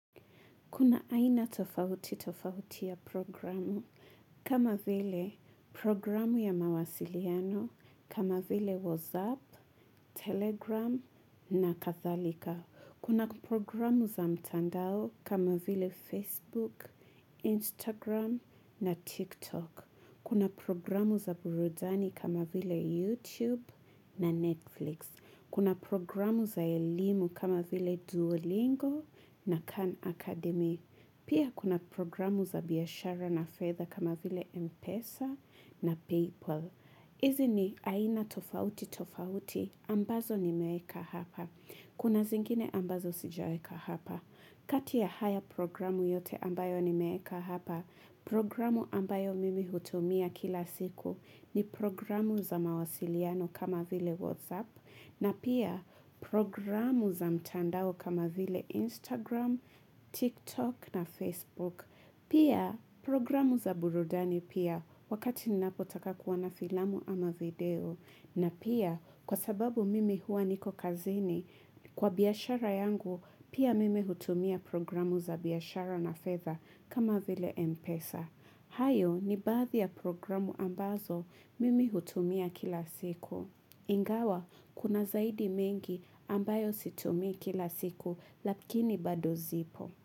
Kuna aina tofauti tofauti ya programu kama vile programu ya mawasiliano kama vile whatsapp, telegram na kadhalika. Kuna programu za mtandao kama vile facebook, instagram na tiktok. Kuna programu za burudani kama vile youtube na netflix. Kuna programu za elimu kama vile duolingo na khan academy. Pia kuna programu za biashara na fedha kama vile Mpesa na Paypal. Izi ni aina tofauti tofauti ambazo nimeeka hapa. Kuna zingine ambazo sijaweka hapa. Kati ya haya programu yote ambayo nimeeka hapa, programu ambayo mimi hutumia kila siku ni programu za mawasiliano kama vile Whatsapp. Na pia programu za mtandao kama vile Instagram, TikTok na Facebook. Pia programu za burudani pia wakati ninapotaka kuwa na filamu ama video. Na pia kwa sababu mimi huwa niko kazini kwa biashara yangu pia mimi hutumia programu za biashara na fedha kama vile Mpesa. Hayo ni baadhi ya programu ambazo mimi hutumia kila siku. Ingawa, kuna zaidi mengi ambayo situmi kila siku, lakini bado zipo.